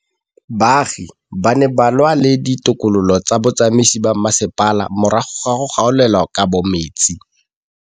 Baagi ba ne ba lwa le ditokolo tsa botsamaisi ba mmasepala morago ga go gaolelwa kabo metsi.